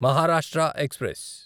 Maharashtra express